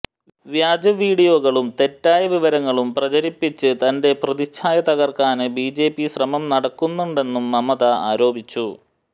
വ്യാജവീഡിയോകളും തെറ്റായ വിവരങ്ങളും പ്രചരിപ്പിച്ച് തന്റെ പ്രതിച്ഛായ തകര്ക്കാന് ബിജെപി ശ്രമം നടക്കുന്നുണ്ടെന്നും മമത ആരോപിച്ചു